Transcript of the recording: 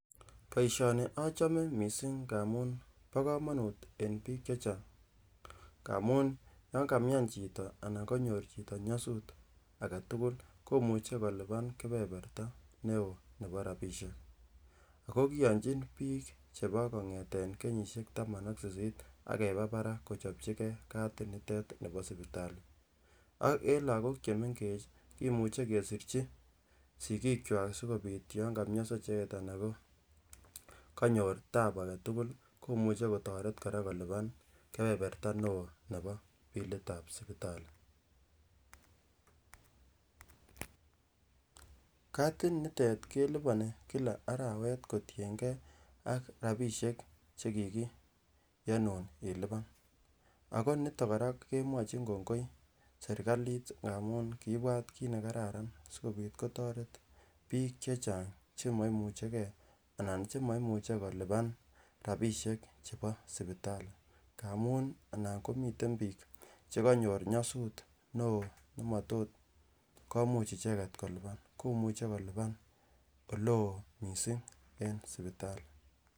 Boisioni achome misssing amun bo komonut eng biik chechang amun yon kamian chito anan konyor chito nyosut aketukul komuche kolipan keberberta newoo nebo rapisiek ako kiyonjin biik chebo kongeten kenyisiek taman ak sisit akeba barak kochopchi kee katit nitet nebo sipitali ak eng lagok chemengech kimuche kesirchi sigiikkwak sikobit yon komionso icheket anan ko konyor tabu aketukul komuche kora kotoret kora kolipan keberberta newoo nebo bilit ab sibitali katit nitet keliponi kila arawet kotiengei ak rapisiek chekikiyonun ilipan ako niton kora kemwochin kongoi serkalit amun kibwat kiit nekararan sikobit koteret biik chechang chemoimuchekee anan chemoimuche kolipan rapisiek chebo sipitali amun nan komiten biik chekonyor nyosut newoo nemotot komuch icheket kolipan komuche kolipan olewoo missing en sipitali